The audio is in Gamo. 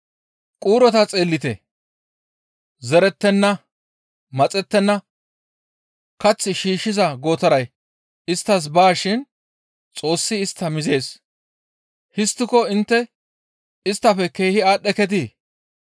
Quurota xeellite zerettenna; maxettenna; kath shiishshiza gootaray isttas baa shin Xoossi istta mizees. Histtiko intte isttafe keehi aadhdheketii?